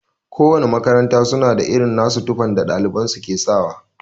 Kowana makaranta suna da irin tufan da ɗaliban su ke sawa daban.